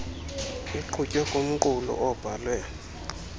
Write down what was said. iqhutywe kumqulu abhalwe